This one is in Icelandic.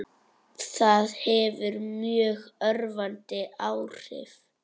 Það hefur mjög örvandi áhrif.